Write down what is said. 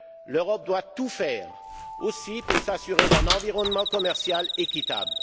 L'Europe doit tout faire aussi pour s'assurer d'un environnement commercial équitable.